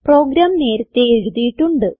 programme നേരത്തേ എഴുതിയിട്ടുണ്ട്